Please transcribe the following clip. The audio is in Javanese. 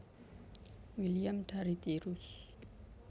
William dari Tirus